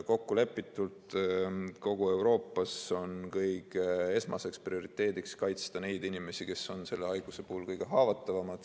Kokkulepitult on kogu Euroopas esmaseks prioriteediks kaitsta neid inimesi, kes on selle haiguse puhul kõige haavatavamad.